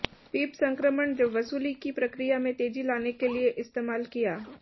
पीप संक्रमण जब वसूली की प्रक्रिया में तेजी लाने के लिए इस्तेमाल किया